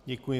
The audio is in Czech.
Děkuji.